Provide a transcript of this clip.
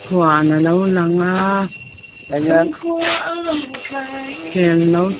huan a lo lang a kel naute --